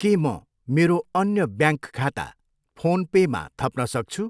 के म मेरो अन्य ब्याङ्क खाता फोन पेमा थप्न सक्छु?